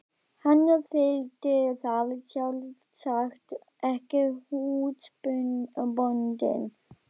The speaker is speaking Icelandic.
Hann þyldi það sjálfsagt ekki, húsbóndinn.